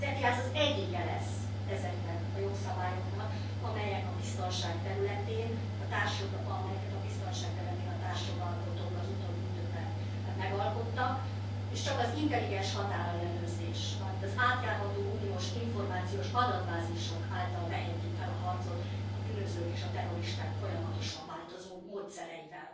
Az ETIAS az egyike lesz ezeknek a jogszabályoknak, amelyeket a biztonság területén a társjogalkotók az utóbbi időben megalkottak, és csak az intelligens határellenőrzés, valamint az átjárható uniós információs adatbázisok által vehetjük fel a harcot a bűnözők és a terroristák folyamatosan változó módszereivel.